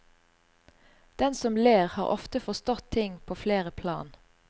Den som ler har ofte forstått ting på flere plan.